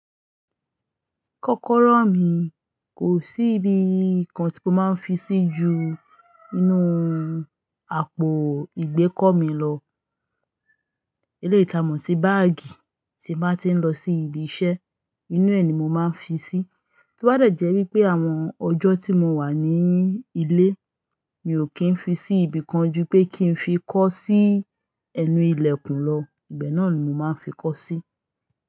Kọ́kọ́rọ́ mi, kò sí ibi kankan tí mo máa ń fi sí ju inú àpò ìgbé kọ́ mi lọ. Elétàmọ́ṣí báàgì tí n bá ti ń lọ sí ibi iṣẹ́, inú ẹ̀ ni mo máa ń fi sí. Ti ó bá dẹ̀ jẹ́ wípé àwọn ọjọ́ tí mo wà ní ilé, mi ò kí ń fi sí ibi kan ju pé kí ń fi kọ́ sí ẹnu ilẹ̀kùn lọ. Ibẹ̀ náà ni mo máa ń fi kọ́ sí.